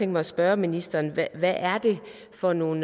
mig at spørge ministeren hvad er det for nogle